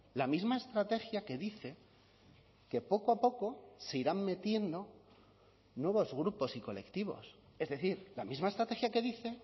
la misma estrategia que dice que poco a poco se irán metiendo nuevos grupos y colectivos es decir la misma estrategia que dice